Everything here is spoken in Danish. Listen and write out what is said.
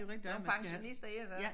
Sådan pensionister her så